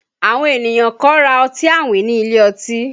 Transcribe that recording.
Àwọn ènìyàn kan ra ọtí àwìn ní ilé ọtí